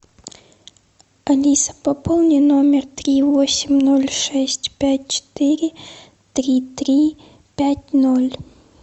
алиса пополни номер три восемь ноль шесть пять четыре три три пять ноль